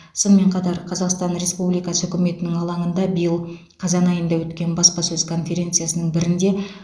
сонымен қатар қазақстан республикасы үкіметінің алаңында биыл қазан айында өткен баспасөз конференциясының бірінде